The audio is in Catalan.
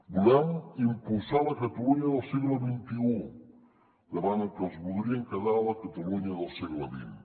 volem impulsar la catalunya del segle xxi davant dels que es voldrien quedar a la catalunya del segle xx